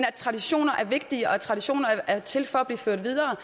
at traditioner er vigtige og at traditioner er til for at blive ført videre